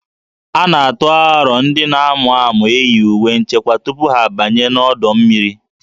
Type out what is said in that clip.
A na-atụ aro ndị na-amụ amụ iyi uwe nchekwa tupu ha abanye n'ọdọ mmiri